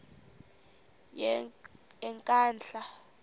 yenkandla